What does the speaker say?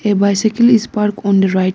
a bicycle is parked on the right s--